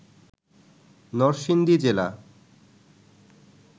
নরসিংদী জেলা